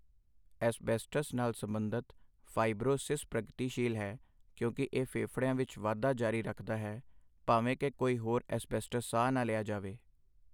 Asbestos ਨਾਲ ਸਬੰਧਤ fibrosis ਪ੍ਰਗਤੀਸ਼ੀਲ ਹੈ ਕਿਉਂਕਿ ਇਹ ਫੇਫੜਿਆਂ ਵਿੱਚ ਵਾਧਾ ਜਾਰੀ ਰੱਖਦਾ ਹੈ ਭਾਵੇਂ ਕਿ ਕੋਈ ਹੋਰ ਐੱਸ-ਬੈਸਟਸ ਸਾਹ ਨਾ ਲਿਆ ਜਾਵੇ।